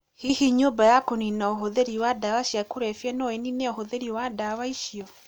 Hihi nyũmba ya kũnina ũhũthĩri wa ndawa cia kũrebia no ĩnine ũhũthĩri wa ndawa icio?